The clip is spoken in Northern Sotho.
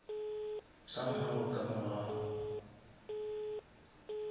some how ka mogau